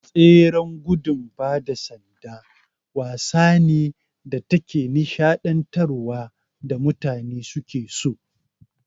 Tseren gudun bada sanda wasa ne da take nishaɗantar wa da mutane suke so